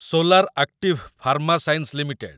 solar active pharma science limited